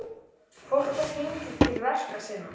Fólk var gengið til verka sinna.